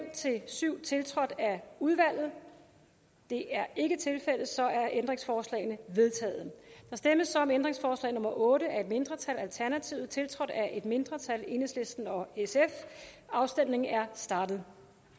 syv tiltrådt af udvalget det er ikke tilfældet så er ændringsforslagene vedtaget der stemmes om ændringsforslag nummer otte af et mindretal tiltrådt af et mindretal og afstemningen er startet